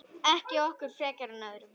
Ekki okkur frekar en öðrum.